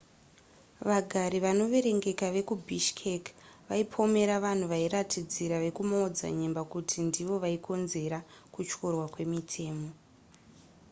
vagari vanoverengeka vekubishkek vaipomera vanhu vairatidzira vekumaodzanyemba kuti ndivo vaikonzera kutyorwa kwemitemo